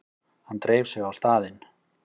Hann dreif sig á staðinn.